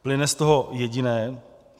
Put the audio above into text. Plyne z toho jediné.